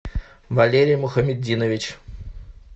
валерий мухаметдинович